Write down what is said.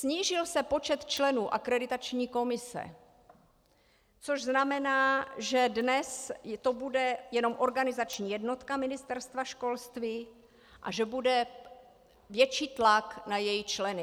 Snížil se počet členů akreditační komise, což znamená, že dnes to bude jenom organizační jednotka Ministerstva školství a že bude větší tlak na její členy.